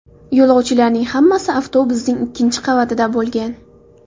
Yo‘lovchilarning hammasi avtobusning ikkinchi qavatida bo‘lgan.